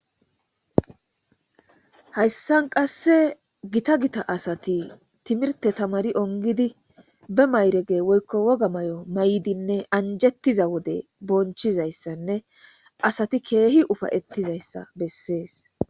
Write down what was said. Hayssan qasse giththa giththa assathi timirte tamari onggidda bee mayiragge woykko wogga mayo mayidinne anjettizza wodde bonchizayass assathi keeh uffaytizayass besses.